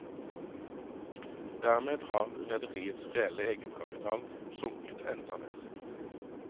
Dermed har rederiets reelle egenkapital sunket enda mer.